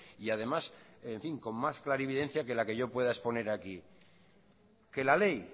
y además en fin con más clarividencia que la que yo pueda exponer aquí que la ley